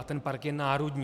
A ten park je národní.